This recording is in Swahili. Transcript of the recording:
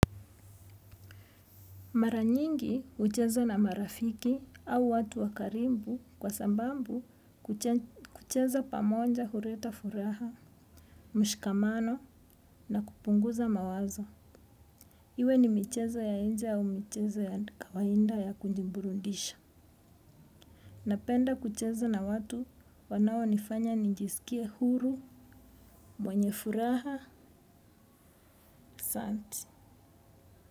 Mara nyingi hucheza na marafiki au watu wa karibu kwa sababu kucheza pamoja huleta furaha, mshikamano na kupunguza mawazo. Iwe ni michezo ya nje au michezo ya kawaida ya kujiburundisha. Napenda kucheza na watu wanao nifanya nijisikie huru, mwenye furaha, santi.